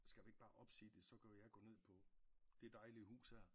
Skal vi ikke bare opsige det så kan jeg gå ned på det dejlige hus her